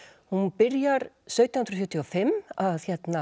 hún byrjar sautján hundruð sjötíu og fimm að